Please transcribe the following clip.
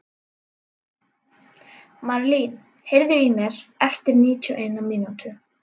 Marlín, heyrðu í mér eftir níutíu og eina mínútur.